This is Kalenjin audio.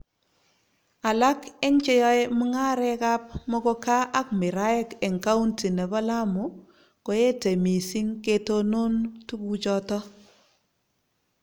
alak eng che yoe mung'arekab muguka ak miraek eng kaunti nebo Lamu koetei mising ketonon tukuchoto